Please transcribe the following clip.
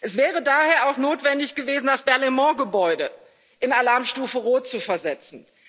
Es wäre daher auch notwendig gewesen, das Berlaymont-Gebäude in Alarmstufe Rot zu versetzen.